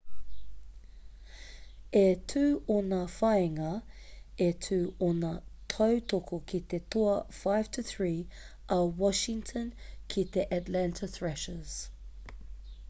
e 2 ōna whāinga e 2 ōna tautoko ki te toa 5-3 a washington ki te atlanta thrashers